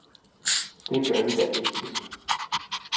Det gør vi da ikke hjemme.